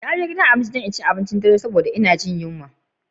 Na je gidan abinci dan in ci abincin yamma, da'ma ina Jin yunwa.